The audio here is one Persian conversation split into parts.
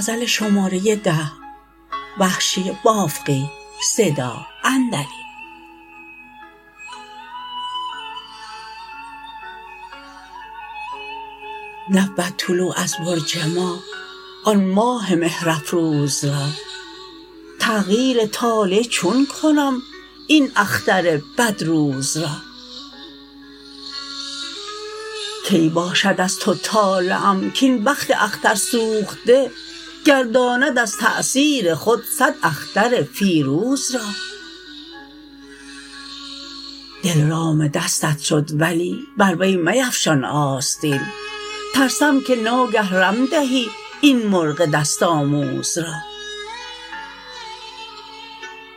نبود طلوع از برج ما آن ماه مهر افروز را تغییر طالع چون کنم این اختر بد روز را کی باشد از تو طالعم کاین بخت اختر سوخته گرداند از تأثیر خود سد اختر فیروز را دل رام دستت شد ولی بر وی میفشان آستین ترسم که ناگه رم دهی این مرغ دست آموز را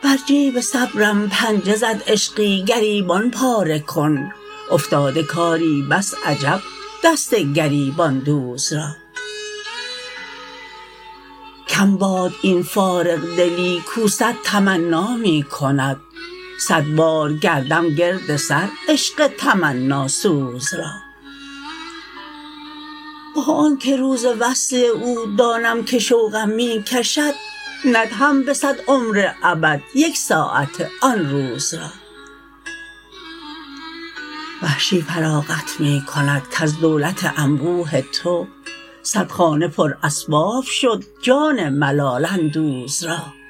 بر جیب صبرم پنجه زد عشقی گریبان پاره کن افتاده کاری بس عجب دست گریبان دوز را کم باد این فارغ دلی کو سد تمنا می کند سد بار گردم گرد سر عشق تمناسوز را با آنکه روز وصل او دانم که شوقم می کشد ندهم به سد عمر ابد یک ساعت آن روز را وحشی فراغت می کند کز دولت انبوه تو سد خانه پر اسباب شد جان ملال اندوز را